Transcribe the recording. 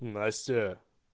настя